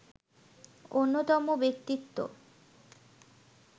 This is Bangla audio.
অন্যতম ব্যক্তিত্ব